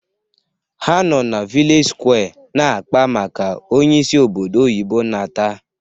Ha nọ na vilej sụkwé na-akpa maka onye si obodo oyibo nata